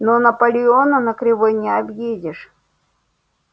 но наполеона на кривой не объедешь